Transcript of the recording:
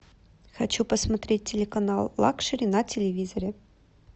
хочу посмотреть телеканал лакшери на телевизоре